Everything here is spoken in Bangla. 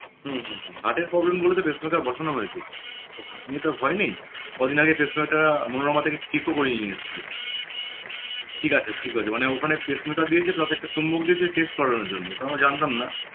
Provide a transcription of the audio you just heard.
হম হম হম heart এর problem বলে তো pacemaker বসানো হয়েছে heart নিয়ে তো আর ভয় নেই কদিন আগে pacemaker টা মনোরমা থেকে check করিয়ে নিয়ে এসছি ঠিক আছে ঠিক আছে মানে ওখানে pacemaker দিয়েছে তাতে একটা চুম্বক দিয়েছে test করানোর জন্য ওটা আমরা জানতাম না